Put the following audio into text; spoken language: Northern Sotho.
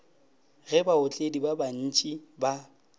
ge baotledi ba bantši ba